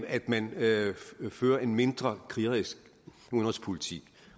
at man fører en mindre krigerisk udenrigspolitik